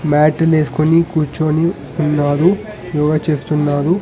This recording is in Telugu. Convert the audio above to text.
మ్యాట్ ను వేసుకొని కూర్చొని ఉన్నారు యోగ చేస్తున్నారు.